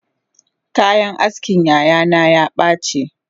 Kayan askin yayana yabace